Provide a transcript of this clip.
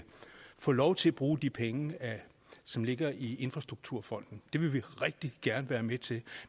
få lov til at bruge de penge som ligger i infrastrukturfonden det vil vi rigtig gerne være med til